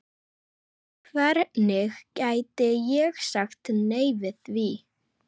Hvernig gæti ég sagt nei við því?